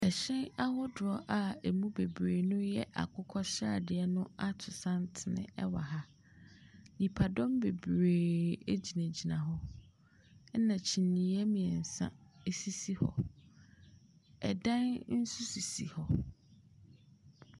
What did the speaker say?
Ɛhyɛn ahodoɔ a ɛmu bebree ɛyɛ akokɔsradeɛ ato santene ɛwɔ ha. Nipadɔm bebree agyinagyina ho. Ɛna kyineɛ mmiɛnsa asisi hɔ. Dan nso sisi hɔ.